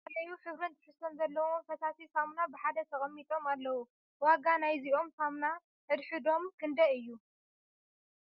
ዝተፈላለይ ሕብርን ትሕዝቶን ዘለዎም ፈሳሲ ሳሙን ብ ሓደ ተቀሚጦም ኣለዉ ። ዋጋ ንይዞም ሳሙና ን ሕድ ሕዶም ክንደይ እዩ ?